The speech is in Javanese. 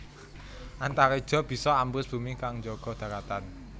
Antareja bisa ambles bumi kang njaga dharatan